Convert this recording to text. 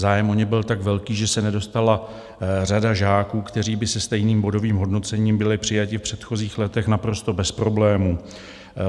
Zájem o ně byl tak velký, že se nedostala řada žáků, kteří by se stejným bodovým hodnocením byli přijati v předchozích letech naprosto bez problémů.